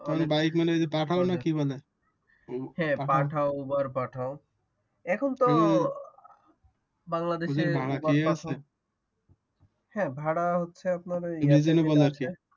bike মানে পাঠাও না কি বলে হ্যাঁ পাঠাও উবার পাঠাও এখন তো বাংলাদেশে ভাড়া কি আছে হ্যাঁ ভাড়া হচ্ছে আপনার ওই